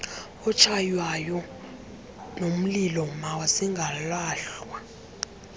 otshaywayo nomlilo mazingalahlwa